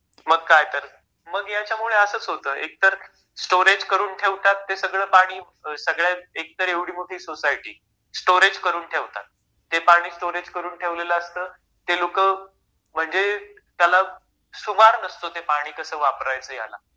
मग काय तर मग ह्याच्यामुळे असच होत एकतर स्टोरेज करून ठेवतात ते सगळ पाणी सगळ्या एकतर एवढी मोठी सोसायटी स्टोरेज करून ठेवतात... ते पाणी स्टोरेज करून ठेवलेल असत ते लोक म्हणजे त्याला सुमार नसतो ते पाणी कस वापरायच ह्याला